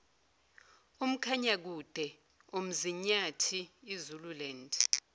umkhanyakude umzinyathi izululand